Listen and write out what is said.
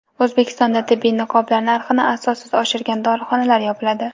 O‘zbekistonda tibbiy niqoblar narxini asossiz oshirgan dorixonalar yopiladi.